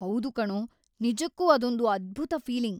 ಹೌದು ಕಣೋ, ನಿಜಕ್ಕೂ ಅದೊಂದು ಅದ್ಭುತ ಫೀಲಿಂಗ್‌.